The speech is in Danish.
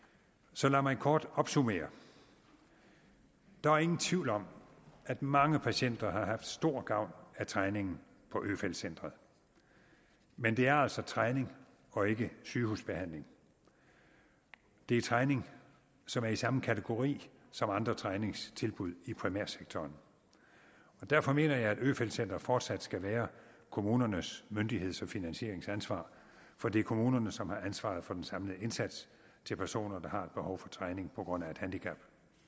så lad mig kort opsummere der er ingen tvivl om at mange patienter har haft stor gavn af træningen på øfeldt centret men det er altså træning og ikke sygehusbehandling det er træning som er i samme kategori som andre træningstilbud i primærsektoren derfor mener jeg at øfeldt centret fortsat skal være kommunernes myndigheds og finansieringsansvar for det er kommunerne som har ansvaret for den samlede indsats til personer der har behov for træning på grund af et handicap